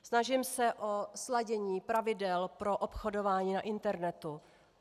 Snažím se o sladění pravidel pro obchodování na internetu.